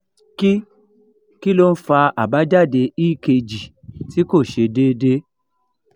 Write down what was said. kí kí ló ń fa àbájáde ekg tí kò se dede?